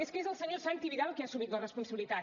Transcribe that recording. és que és el senyor santi vidal qui ha assumit la responsabilitat